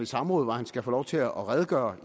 samråd hvor han skal få lov til at redegøre